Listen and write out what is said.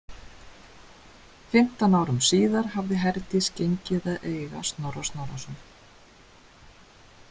Fimmtán árum síðar hafði Herdís gengið að eiga Snorra Snorrason.